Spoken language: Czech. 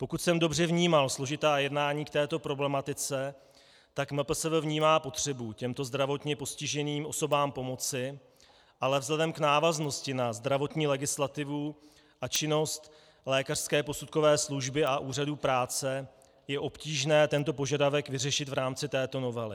Pokud jsem dobře vnímal složitá jednání k této problematice, tak MPSV vnímá potřebu těmto zdravotně postiženým osobám pomoci, ale vzhledem k návaznosti na zdravotní legislativu a činnost lékařské posudkové služby a úřadu práce je obtížné tento požadavek vyřešit v rámci této novely.